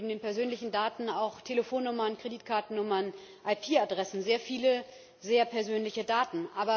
Das sind neben den persönlichen Daten auch Telefonnummern, Kreditkartennummern, IP Adressen sehr viele sehr persönliche Daten.